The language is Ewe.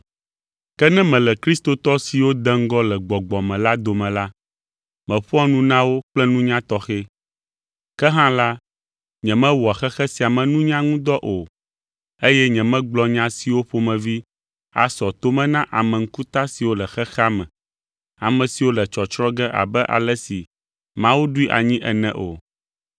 Ke ne mele kristotɔ siwo de ŋgɔ le gbɔgbɔ me la dome la, meƒoa nu na wo kple nunya tɔxɛ. Ke hã la, nyemewɔa xexe sia me nunya ŋu dɔ o, eye nyemegblɔa nya siwo ƒomevi asɔ to me na ame ŋkuta siwo le xexea me, ame siwo le tsɔtsrɔ̃ ge abe ale si Mawu ɖoe anyi ene o.